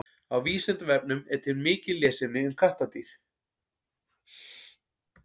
Á Vísindavefnum er til mikið lesefni um kattardýr.